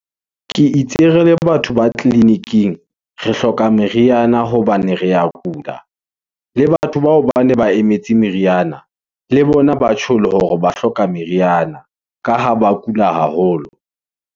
Ke batho ba tleliniking, re hloka meriana hobane re a kula, le batho bao ba ne ba emetse meriana, le bona, ba tjholo hore ba hloka meriana, ka ha ba kula haholo.